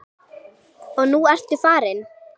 Og nú ertu farin.